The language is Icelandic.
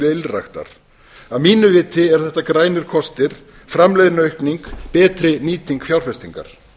ylræktar að mínu viti eru þetta grænir kostir framleiðniaukning betri nýting fjárfestingar